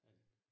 Men